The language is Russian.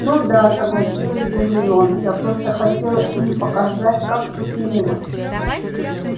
ну да согласилась гермиона я просто хотела им показать как тут мило